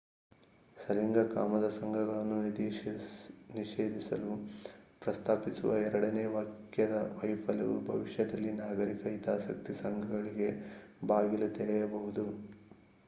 ಸಲಿಂಗ ಕಾಮದ ಸಂಘಗಳನ್ನು ನಿಷೇಧಿಸಲು ಪ್ರಸ್ತಾಪಿಸುವ ಎರಡನೇ ವಾಕ್ಯದ ವೈಫಲ್ಯವು ಭವಿಷ್ಯದಲ್ಲಿ ನಾಗರಿಕ ಹಿತಾಸಕ್ತಿ ಸಂಘಗಳಿಗೆ ಬಾಗಿಲು ತೆರೆಯಬಹುದು